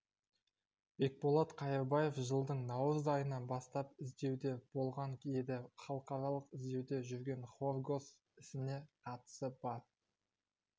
бекболат қайырбаев жылдың наурыз айынан бастап іздеуде болған еді халықаралық іздеуде жүрген хоргос ісіне қатысы бар